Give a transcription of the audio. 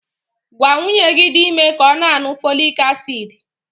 Gwa nwunye gi di ime ka ọ na-aṅụ fọlịk asid!